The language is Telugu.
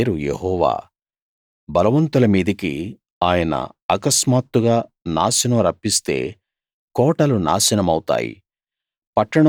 ఆయన పేరు యెహోవా బలవంతుల మీదికి ఆయన అకస్మాత్తుగా నాశనం రప్పిస్తే కోటలు నాశనమవుతాయి